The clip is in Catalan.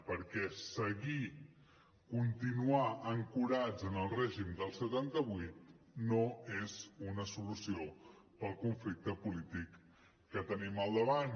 perquè seguir continuar ancorats en el règim del setanta vuit no és una solució per al conflicte polític que tenim al davant